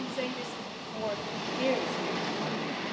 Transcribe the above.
We have been saying this for years here in Parliament.